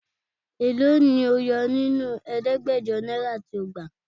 Èló ni o yo nínú ẹ̀ẹ́dẹ́gbẹ̀jọ náírà tí o gbà?